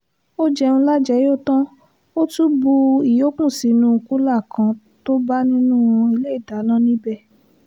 ó jẹun lájẹyó tán ó tún bu ìyókù sínú kùlà kan tó bá nínú iléedáná níbẹ̀